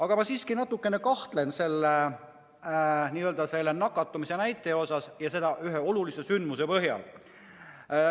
Aga ma siiski natukene kahtlen selles nakatumisnäitajas ja seda ühe olulise sündmuse põhjal.